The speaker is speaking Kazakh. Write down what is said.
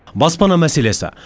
баспана мәселесі